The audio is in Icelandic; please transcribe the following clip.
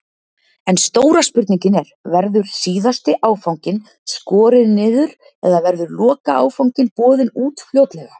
En stóra spurningin er, verður síðasti áfanginn skorinn niður eða verður lokaáfanginn boðinn út fljótlega?